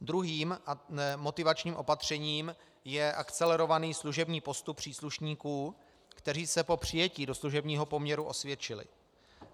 Druhým motivačním opatřením je akcelerovaný služební postup příslušníků, kteří se po přijetí do služebního poměru osvědčili.